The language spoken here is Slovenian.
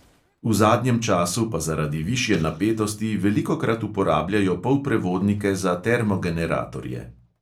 V zadnjem času pa zaradi višje napetosti velikokrat uporabljajo polprevodnike za termogeneratorje.